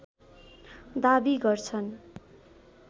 दाबी गर्छन्